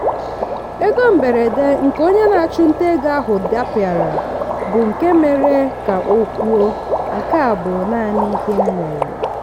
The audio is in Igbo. ego mberede nke onye na-achụnta ego ahụ dapịara bụ nke mere ka o kwuo " nke a bụ naanị ihe m nwere".